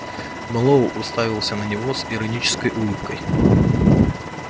мэллоу уставился на него с иронической улыбкой